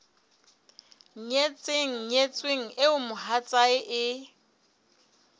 nyetseng nyetsweng eo mohatsae e